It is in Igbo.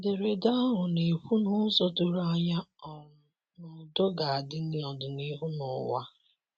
Ederede ahụ na - ekwu n’ụzọ doro anya um na ụdọ ga -adi n’ọdịnihu n'uwa